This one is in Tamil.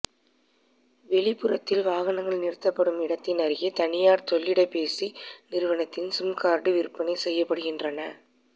வெளிப்புறத்தில் வாகனங்கள் நிறுத்தப்படும் இடத்தின் அருகே தனியாா் செல்லிடப்பேசி நிறுவனத்தின் சிம் காா்டுகள் விற்பனை செய்யப்படுகின்றன